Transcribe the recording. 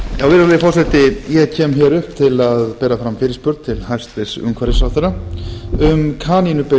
virðulegi forseti ég kem hér upp til að bera fram fyrirspurn til hæstvirts umhverfisráðherra um kanínubyggð